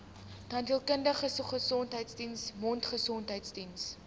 tandheelkundige gesondheidsdiens mondgesondheidsdiens